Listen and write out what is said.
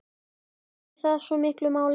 Skiptir það svona miklu máli?